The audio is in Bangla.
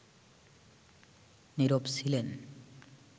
নীরব ছিলেন